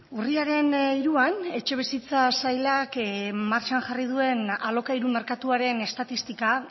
urriaren hiruan etxebizitza sailak martxan jarri duen alokairu merkatuaren estatistika